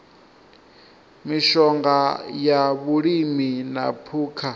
mishonga ya vhulimi na phukha